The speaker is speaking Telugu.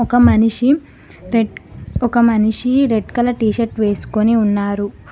ఒక మనిషి రెడ్ ఒక మనిషి రెడ్ కలర్ టీషర్ట్ వేసుకొని ఉన్నారు.